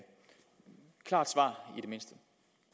klart svar